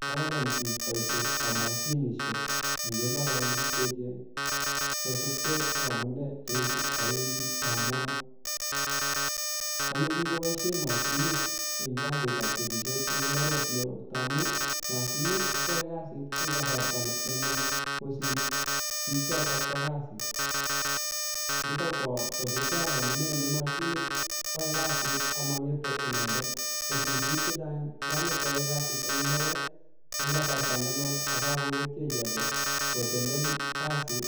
kocham biik boishetab moshinishek en mbaronik cheechen kosupkee ak amunee cheuchu owendi amwae chome biik koboishen moshinit en kasitab kesishet en mbaret neoo tamuni moshiniti koyoe kasiten kasarta nenwach kosir biik chotok bo kasi nitok kokosupkee ak amune ne moshinit koyoe kasit amongete inendet kosir biik chechang chanyokwoe kasit en mbaret en kasarta nenwach akakongetio icheket kotelel kasit